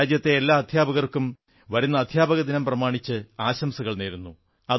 ഞാൻ രാജ്യത്തെ എല്ലാ അധ്യാപകർക്കും വരുന്ന അധ്യാപകദിനം പ്രമാണിച്ച് ആശംസകൾ നേരുന്നു